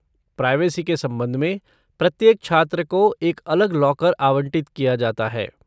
Privacy के संबंध में, प्रत्येक छात्र को एक अलग लॉकर आवंटित किया जाता है।